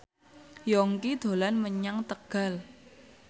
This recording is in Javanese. Yongki dolan menyang Tegal